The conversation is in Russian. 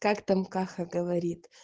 как там каха говорит